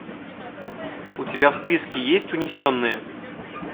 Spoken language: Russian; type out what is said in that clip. у тебя в списке есть унесенные